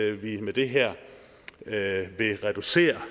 at vi med det her reducerer